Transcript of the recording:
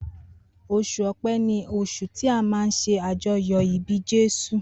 Osùn ọpẹ ni osun ti a má nṣe ajoyọ ibi Jésù.